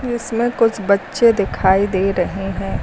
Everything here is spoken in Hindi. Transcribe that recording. इसमें कुछ बच्चे दिखाई दे रहे हैं।